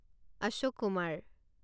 Ashok Kumar